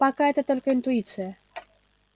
пока это только интуиция